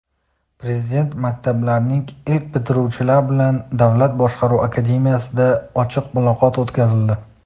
Prezident maktablarining ilk bitiruvchilari bilan Davlat boshqaruv akademiyasida ochiq muloqot o‘tkazildi.